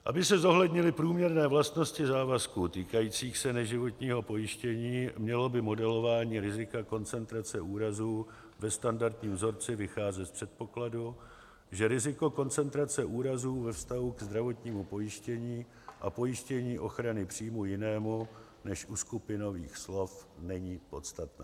Aby se zohlednily průměrné vlastnosti závazků týkajících se neživotního pojištění, mělo by modelování rizika koncentrace úrazů ve standardním vzorci vycházet z předpokladu, že riziko koncentrace úrazů ve vztahu k zdravotnímu pojištění a pojištění ochrany příjmů jinému než u skupinových slev není podstatné.